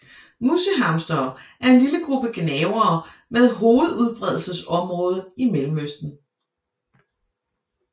Musehamstere er en lille gruppe gnavere med hovedudbredelsesområde i Mellemøsten